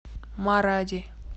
маради